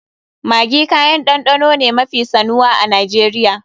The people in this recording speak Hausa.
Maggi kayan ɗanɗano ne mafi sanuwa a Najeriya.